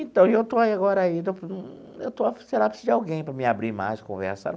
Então, e eu estou aí agora indo para um eu estou, sei lá, preciso de alguém para me abrir mais, conversar.